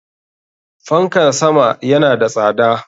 Fanka sama yana da tsada.